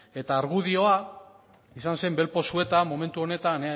eta argudio izan zen bel pozueta momentu honetan